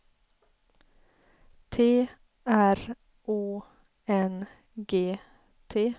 T R Å N G T